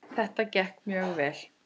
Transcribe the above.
Þetta gekk mjög vel.